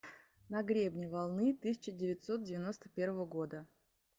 на гребне волны тысяча девятьсот девяносто первого года